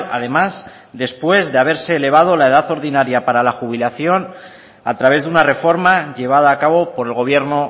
además después de haberse elevado la edad ordinaria para la jubilación a través de una reforma llevada a cabo por el gobierno